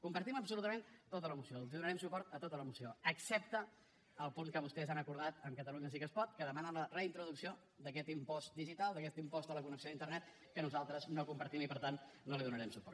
compartim absolutament tota la moció els donarem suport a tota la moció excepte al punt que vostès han acordat amb catalunya sí que es pot que demana la reintroducció d’aquest impost digital d’aquest impost a la connexió d’internet que nosaltres no compartim i per tant no li donarem suport